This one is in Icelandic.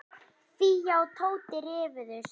Fía og Tóti rifust.